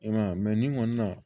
I m'a ye nin kɔni na